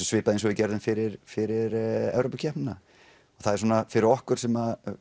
svipað eins og við gerðum fyrir fyrir Evrópukeppnina fyrir okkur sem